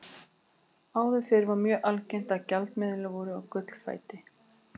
Áður fyrr var mjög algengt að gjaldmiðlar væru á gullfæti.